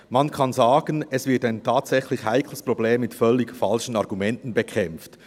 Man kann sagen, ein tatsächlich heikles Problem wird mit völlig falschen Argumenten bekämpft.